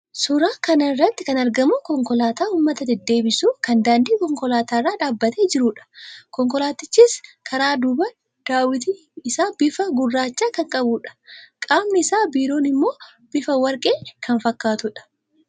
Suuraa kana irratti kan argamu konkolaataa uummata deddeebisu kan daandii konkolaataa irra dhaabbatee jiruudha. Konkolaatichis karaa dubaa daawwitiin isaa bifa gurraacha kan qabuudha. Qamni isaa biroon immoo bifa warqee kan fakkaatuudha.